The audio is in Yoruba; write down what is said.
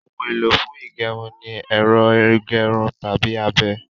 Ohun èlò fún ígẹrun ní ẹ́rọ ígẹrun tàbí abẹ